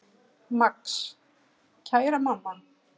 Max: Kæra mamma.